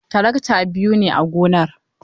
Tarakta biyu ne a gonar.